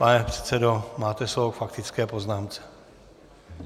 Pane předsedo, máte slovo k faktické poznámce.